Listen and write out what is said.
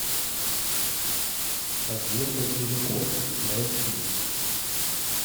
подземный переход найти